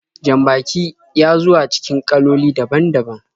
Jan-baki ya zuwa cikin kaloli daban-daban.